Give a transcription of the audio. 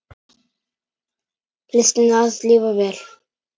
Listina að lifa vel.